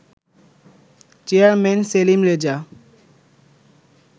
chairman Selim Reza